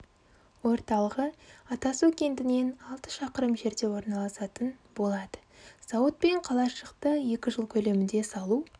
орталығы атасу кентінен алты шақырым жерде орналасатын болады зауыт пен қалашықты екі жыл көлемінде салу